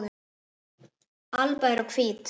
alba eru hvít.